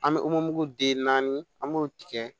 An bɛ den naani an b'o tigɛ